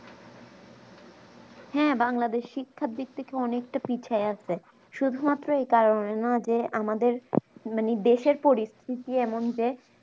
হ্যাঁ বাংলাদেশ শিক্ষার দিক থেকে অনেকটা পিছাই আছে শুধু মাত্র এই কারণে যে আমাদের মানে দেশের পরিস্থিতি এমন যে